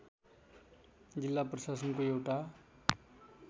जिल्ला प्रशासनको एउटा